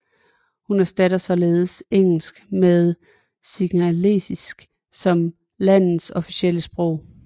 Hun erstattede således engelsk med singalesisk som landets officielle sprog